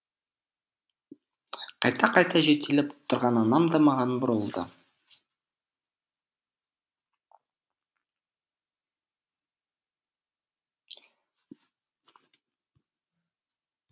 қайта қайта жөтеліп отырған анам да маған бұрылды